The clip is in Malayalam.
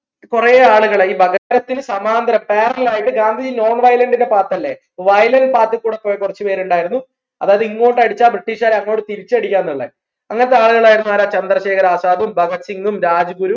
കൊറേ ആളുകളെ ഈ സമാന്തരം parallel ആയിട്ട് ഗാന്ധിജി identity എൻറെ part അല്ലേ violent path ൽ കൂടെ പോയ കുറച്ച് ഉണ്ടായിരുന്നു അതായത് ഇങ്ങോട്ട് അടിച്ച് British കാരെ അങ്ങോട്ട് തിരിച്ചടിക്ക എന്നുള്ള അങ്ങനത്തെ ആളുകൾ ആയിരുന്നു ആരാ ആസാദും ഭഗത് സിങ്ങും രാജ് ഗുരു